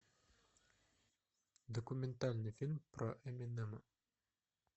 документальный фильм про эминема